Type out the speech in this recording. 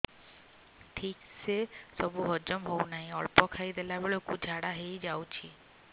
ଠିକସେ ସବୁ ହଜମ ହଉନାହିଁ ଅଳ୍ପ ଖାଇ ଦେଲା ବେଳ କୁ ଝାଡା ହେଇଯାଉଛି